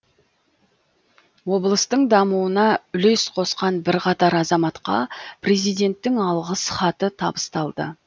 облыстың дамуына үлес қосқан бірқатар азаматқа президенттің алғыс хаты табысталды